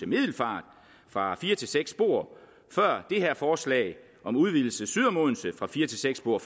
middelfart fra fire til seks spor før det her forslag om udvidelse syd om odense fra fire til seks spor